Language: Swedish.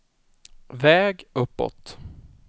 väg uppåt